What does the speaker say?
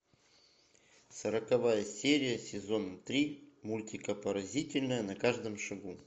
сороковая серия сезон три мультика поразительная на каждом шагу